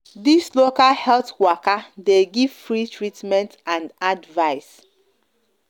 this local health waka de give free treatment and advice